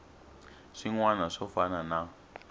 swin wana swo fana na